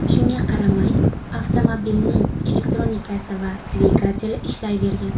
Shunga qaramay, avtomobilning elektronikasi va dvigateli ishlayvergan.